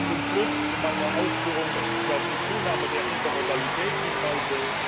Zum Schluss meiner Ausführungen möchte ich auf die Zunahme der Intermodalität hinweisen.